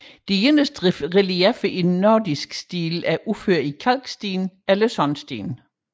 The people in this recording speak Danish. De eneste relieffer i nordisk stil er udført i kalksten eller sandsten